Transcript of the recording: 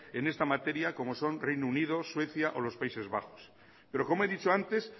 en esta materia como son reino unido suecia o los países bajos pero como he dicho antes